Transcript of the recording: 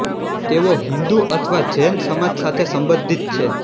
તેઓ હિંદુ અથવા જૈન સમાજ સાથે સંબંધિત છે